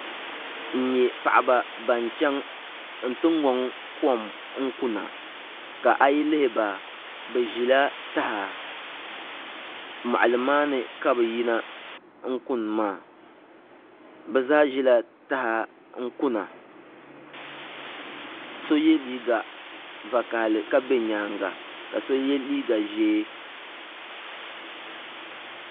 N nyɛ paɣaba ban chɛŋ n ti ŋoŋ kom kuna ka ayi lihiba bi ʒila taha moɣali maa ni ka bi yina n kuni maa bi zaa ʒila taha n kuna so yɛ liiga vakaɣali ka bɛ nyaanga ka so yɛ liiga ʒiɛ